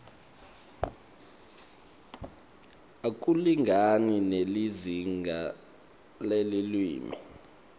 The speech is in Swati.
akulingani nelizingaa lelulwimi